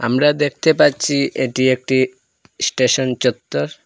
আমরা দেখতে পাচ্ছি এটি একটি স্টেশন চত্বর।